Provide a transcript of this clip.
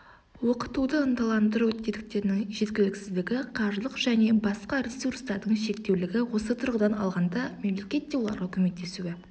оқытуды ынталандыру тетіктерінің жеткіліксіздігі қаржылық және басқа ресурстардың шектеулігі осы тұрғыдан алғанда мемлекет те оларға көмектесуі